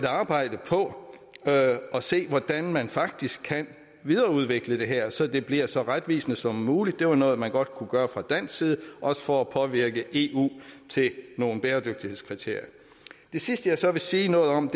arbejde på at se hvordan man faktisk kan videreudvikle det her så det bliver så retvisende som muligt det var noget man godt kunne gøre fra dansk side også for at påvirke eu til nogle bæredygtighedskriterier det sidste jeg så vil sige noget om